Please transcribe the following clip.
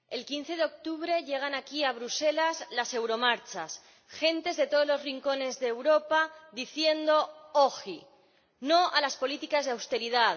Señor Presidente, el 15 de octubre llegan aquí, a Bruselas, las euromarchas, gentes de todos los rincones de Europa diciendo no a las políticas de austeridad